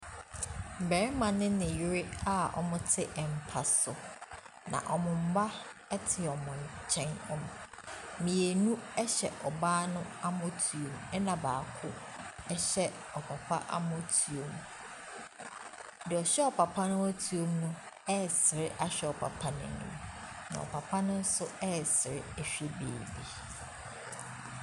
Barima ne ne yere a wɔte mpa so, na wɔn mma te wɔn nkyɛn. Wɔ mmienu hyɛ ɔbaa no amɔtoam, ɛna baako hyɛ ɔpapa amɔtoam. Deɛ ɔhyɛ ɔpapa amɔtoam no resere ahwɛ ɔpapa no anim, na ɔpapa no nso resere hwɛ baabi .